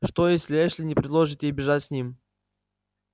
что если эшли не предложит ей бежать с ним